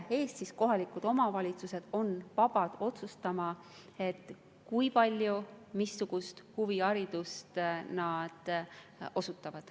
Ja kohalikud omavalitsused on vabad otsustama, kui palju missugust huviharidust nad osutavad.